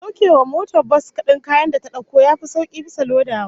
Saukewa motsa bas din kayan da ta dauko yafi sauki bisa lodawa